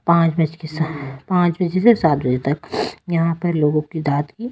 पांच बज के सात पाँच बजे से सात बजे तक यहां पर लोगों की -----